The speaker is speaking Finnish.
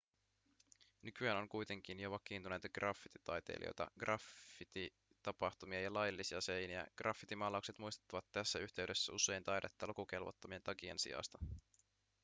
nykyään on kuitenkin jo vakiintuneita graffititaiteilijoita graffititapahtumia ja laillisia seiniä graffitimaalaukset muistuttavat tässä yhteydessä usein taidetta lukukelvottomien tagien sijasta